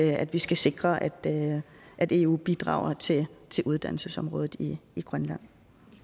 at vi skal sikre at at eu bidrager til uddannelsesområdet i grønland